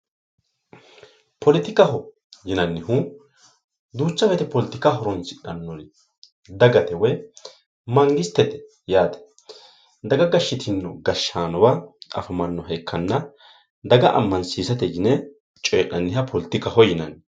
politikaho yinannihu duucha woyiite politika horoonsidhannori dagate woy mangistete yaate. daga gashshitino gashshaanowa afamanno ikkanna daga ammansiosate yine coyii'nanniha politikaho yinanni.